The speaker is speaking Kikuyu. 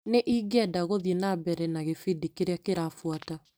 Nĩ ingĩenda gũthiĩ na mbere na gĩbindi kĩrĩa kĩrabuata .